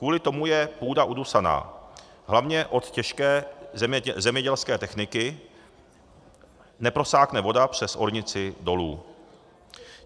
Kvůli tomu je půda udusaná, hlavně od těžké zemědělské techniky, neprosákne voda přes ornici dolů.